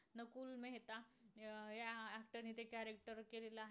अस त्यांनी ते character केलेलं आहे.